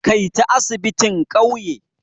Kai ta asibitin ƙauye!